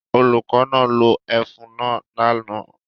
Olùkọ́ náà lo ẹfun náà lánàá